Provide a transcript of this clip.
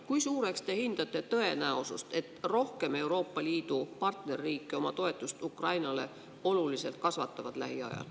Kui suureks te hindate tõenäosust, et rohkem Euroopa Liidu partnerriike kasvatavad lähiajal oluliselt oma toetust Ukrainale?